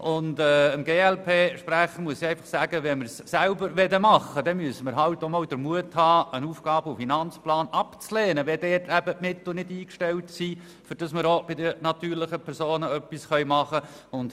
Dem glpSprecher muss ich einfach Folgendes sagen: Wenn wir es selber machen wollen, dann müssen wir auch einmal den Mut haben, einen AFP abzulehnen, wenn dort die Mittel nicht eingestellt sind, um auch bei den natürlichen Personen etwas tun zu können.